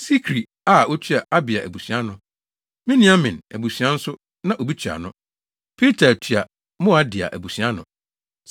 Sikri a otua Abia abusua ano. Miniamin abusua nso na obi tua ano. Piltai tua Moadia abusua ano.